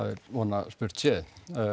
er von að spurt sé